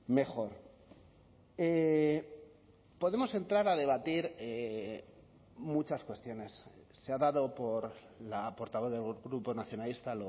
mejor podemos entrar a debatir muchas cuestiones se ha dado por la portavoz del grupo nacionalista